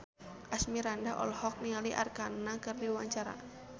Asmirandah olohok ningali Arkarna keur diwawancara